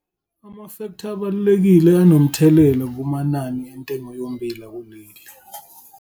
Amafektha abalulekile anomthelela kumanani entengo yommbila kuleli.